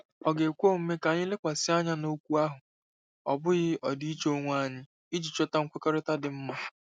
Ọ̀ ga-ekwe omume ka anyị lekwasị anya n'okwu ahụ, ọ bụghị ọdịiche onwe anyị, iji chọta nkwekọrịta dị mma?